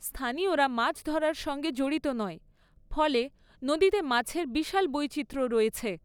স্থানীয়রা মাছ ধরার সঙ্গে জড়িত নয়, ফলে নদীতে মাছের বিশাল বৈচিত্র্য রয়েছে।